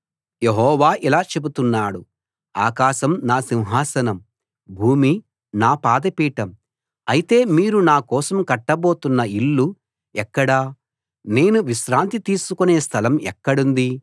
యెహోవా ఇలా చెబుతున్నాడు ఆకాశం నా సింహాసనం భూమి నా పాద పీఠం అయితే మీరు నా కోసం కట్టబోతున్న ఇల్లు ఎక్కడ నేను విశ్రాంతి తీసుకునే స్థలం ఎక్కడుంది